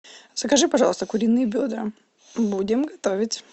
закажи пожалуйста куриные бедра будем готовить